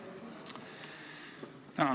Tänan!